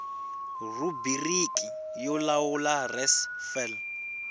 rhubiriki yo lawula res fal